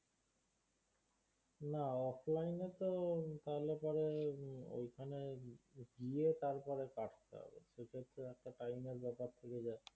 না offline তো তাহলে পরে হম ওইখানে গিয়ে তারপরে কাটতে হবে সেক্ষেত্রে একটা Time এর ব্যাপার থেকে যায়